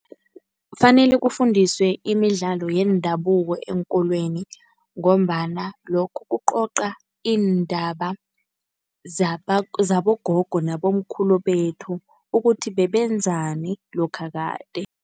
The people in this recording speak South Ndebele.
Kufanele kufundiswe imidlalo yendabuko eenkolweni ngombana lokho kucoca iindaba zabogogo nabomkhulu bethu. Ukuthi bebenzani lokha kade.